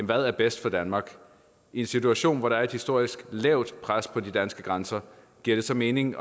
der er bedst for danmark i en situation hvor der er et historisk lavt pres på de danske grænser giver det så mening